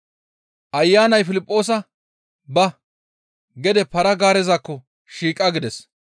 Ayanay Piliphoosa, «Ba! Gede para-gaarezakko shiiqa» gides.